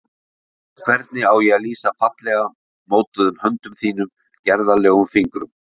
Hvernig á ég að lýsa fallega mótuðum höndum þínum, gerðarlegum fingrum?